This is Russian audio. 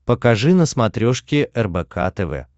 покажи на смотрешке рбк тв